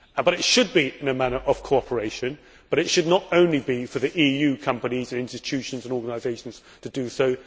It should be done in a manner of cooperation, but it should not only be for the EU companies, institutions and organisations to do so.